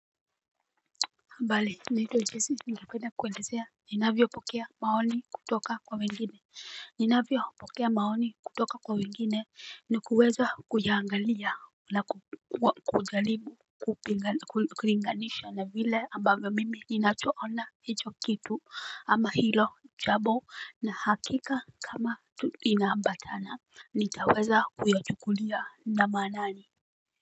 Bali naitwa jessie ningependa kuelezea ninavyopokea maoni kutoka kwa wengine ninavyopokea maoni kutoka kwa wengine ni kuweza kuyangalia na kujaribu kulinganisha na vile ambavyo mimi ninachoona hicho kitu ama hilo jambo na hakika kama inaambatana nitaweza kuyachukulia na maanani.